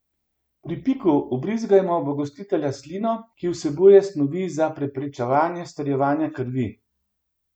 Pri piku vbrizgajo v gostitelja slino, ki vsebuje snovi za preprečevanje strjevanja krvi.